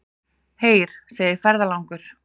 Heyr, segir ferðalangur.